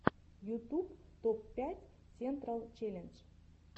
ютуб топ пять сентрал челлендж